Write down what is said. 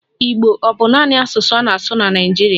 Igbo ọ bụ naanị asụsụ a na-asụ na Naịjirịa?